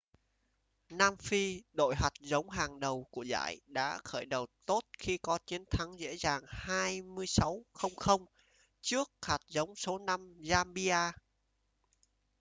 nam phi đội hạt giống hàng đầu của giải đã khởi đầu tốt khi có chiến thắng dễ dàng 26 - 00 trước hạt giống số 5 zambia